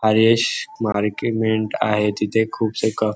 हरीश मार्किमेन्ट आहे तिथे खूपसे क--